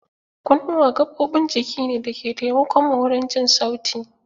Kunnuwa gaɓoɓin jiki ne da ke taimakon mu wurin jin sauti